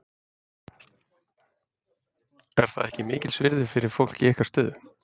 Er það ekki mikils virði fyrir fólk í ykkar stöðu?